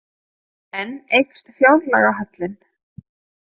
Enn eykst fjárlagahallinn